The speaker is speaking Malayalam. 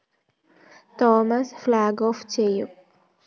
തോമസ് ഫ്‌ളോഗ് ഓഫ്‌ ചെയ്യും